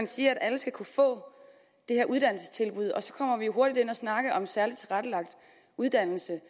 siger at alle skal kunne få det her uddannelsestilbud og så kommer vi hurtigt til at snakke om særligt tilrettelagt uddannelse